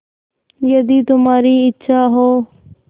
यदि तुम्हारी इच्छा हो